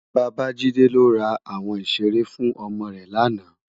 Babajide lò rá áwòn iṣéré fún òmò rè làná